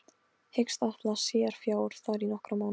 Hyggst afla sér fjár þar í nokkra mánuði.